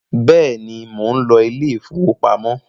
béèni món ló Ilé ìfowópamọ́.